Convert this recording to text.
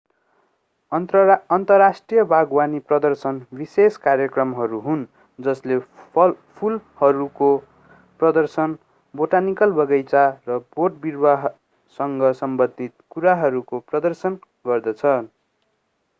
अन्तर्राष्ट्रिय बागवानी प्रदर्शन विशेष कार्यक्रमहरू हुन् जसले फूलहरूको प्रदर्शन बोटानिकल बगैँचा र बोटबिरूवासँग सम्बन्धित कुराहरूको प्रदर्शन गर्दछन्